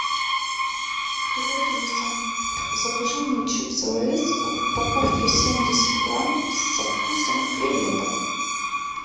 привет алиса закажи мне чипсы лейс в упаковке семьдесят грамм со вкусом креветок